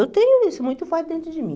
Eu tenho isso, muito forte dentro de mim.